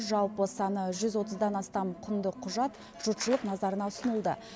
жалпы саны жүз отыздан астам құнды құжат жұртшылық назарына ұсынылды